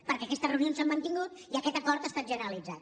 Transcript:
perquè aquestes reunions s’han mantingut i aquest acord ha estat generalitzat